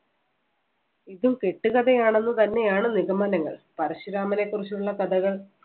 ഇതും കെട്ടുകഥയാണെന്ന് തന്നെയാണ് നിഗമനങ്ങൾ. പരശുരാമനെ കുറിച്ചുള്ള കഥകൾ